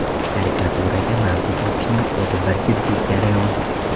Karikaturaga mavzu topishning o‘zi bir jiddiy jarayon.